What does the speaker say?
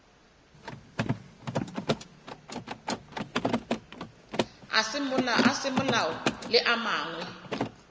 a semolao le a mangwe